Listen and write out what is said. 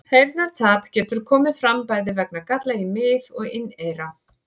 Heyrnartap getur komið fram bæði vegna galla í mið- og inneyra.